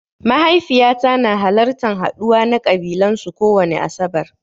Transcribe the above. Mahaifiƴata na halartan haɗuwa na ƙabilan su kowani asaɓar.